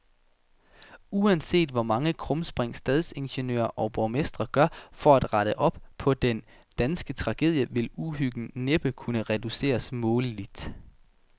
Uanset hvor mange krumspring stadsingeniører og borgmestre gør for at rette op på den danske tragedie, vil uhyggen næppe kunne reduceres måleligt.